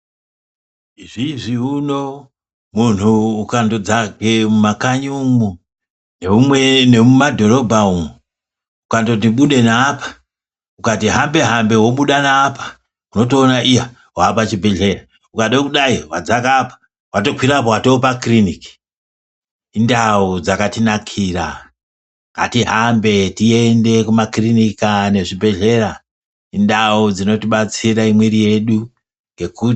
Izvizvi uno munhu ukando dzake mumakanyi umu nemumadhorobha umu ukandoti mude neapa ukati hambe hambe wobuda neapa wotoona iya wapachibheleya ukadei kudai wadzaka apa watokwira apa watopakirinika indau dzakatinakira ngatihambe tiende kumakirinika nekuzvibhehleya indau dzinotibatsire mwiri yedu kuti imhoryoke.